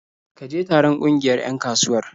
Ka je taron ƙungiyar 'yan kasuwar?